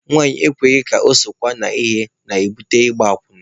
Nwanyị ekweghị ka ọ ha sokwa na ihe na-ebute ịgba akwụna.